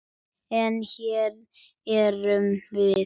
En. hér erum við.